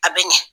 A bɛ ɲɛ